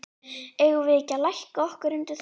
Eigum við ekki að lækka okkur undir þá?